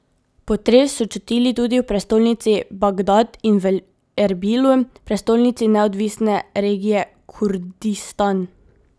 Potres so čutili tudi v prestolnici Bagdad in v Erbilu, prestolnici neodvisne regije Kurdistan.